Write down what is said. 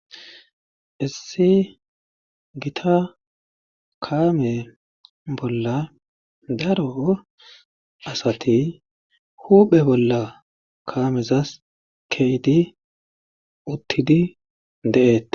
Issi gita kaame bolla daro asati huuphe bolla kaamezas keyidi uttidi de'eetes.